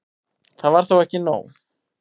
Það var þó ekki nóg.